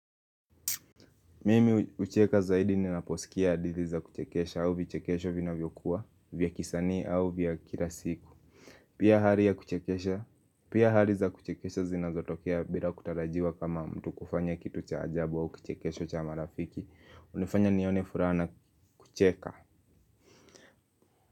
Mimi hucheka zaidi ninaposikia hadithi za kuchekesha au vichekesho vinavyokuwa vya kisanii au vya kila siku. Pia hali ya kuchekesha pia hali za kuchekesha zinazotokea bila kutarajiwa kama mtu kufanya kitu cha ajabu au kuchekesho cha marafiki hunifanya nione furaha na kucheka.